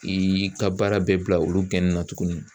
I ka baara bɛɛ bila olu gɛnina tuguni.